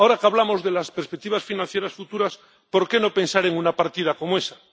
Ahora que hablamos de las perspectivas financieras futuras, ¿por qué no pensar en una partida como esa?